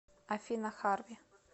афина харви